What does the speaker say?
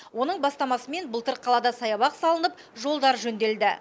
оның бастамасымен былтыр қалада саябақ салынып жолдар жөнделді